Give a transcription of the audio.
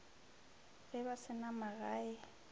ge ba se na magae